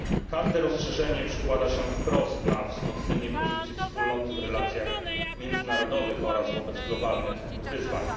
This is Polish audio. Każde rozszerzenie przekłada się wprost na wzmocnienie pozycji Wspólnoty w relacjach międzynarodowych oraz wobec globalnych wyzwań.